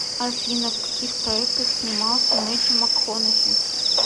афина в каких проектах снимался мэттью макконахи